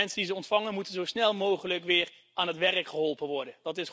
Mensen die ze ontvangen, moeten zo snel mogelijk weer aan het werk geholpen worden.